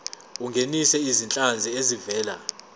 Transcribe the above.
ungenise izinhlanzi ezivela